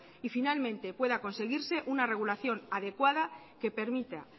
y finalmente pueda conseguirse una regulación adecuada que permita